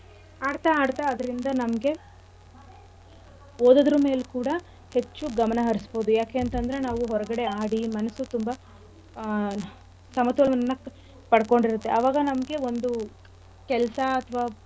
ಆಡ್ತಾ ಆಡ್ತಾ ಅದ್ರಿಂದ ನಮ್ಗೆ ಓದೋದ್ರಮೇಲ್ ಕೂಡ ಹೆಚ್ಚು ಗಮನ ಹರ್ಸ್ಬೋದು ಯಾಕೆಂತಂದ್ರೆ ನಾವು ಹೊರ್ಗಡೆ ಆಡಿ ಮನಸ್ಸು ತುಂಬಾ ಆಹ್ ಸಮತೋಲನವನ್ನ ಪಡ್ಕೊಂಡಿರತ್ತೆ ಅವಾಗ ನಮ್ಗೆ ಒಂದು ಕೆಲ್ಸ ಅಥವಾ.